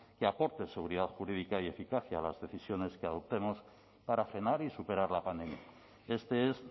que aporte seguridad jurídica y eficacia a las decisiones que adoptemos para frenar y superar la pandemia este es